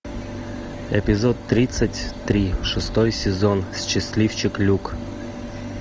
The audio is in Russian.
эпизод тридцать три шестой сезон счастливчик люк